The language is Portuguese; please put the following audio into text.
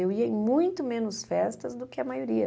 Eu ia em muito menos festas do que a maioria.